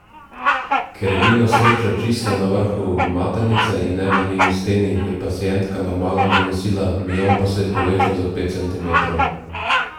Ker je bil na srečo čisto na vrhu maternice in ne v njeni steni, je pacientka normalno donosila, miom pa se je povečal za pet centimetrov.